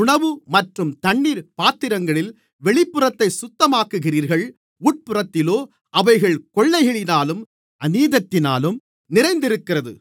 உணவு மற்றும் தண்ணீர் பாத்திரங்களின் வெளிப்புறத்தைச் சுத்தமாக்குகிறீர்கள் உட்புறத்திலோ அவைகள் கொள்ளையினாலும் அநீதத்தினாலும் நிறைந்திருக்கிறது